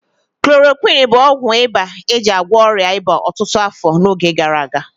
Klorokwịn bụ ọgwụ ịba eji agwọ ọrịa ịba ọtụtụ afọ n'oge gara aga.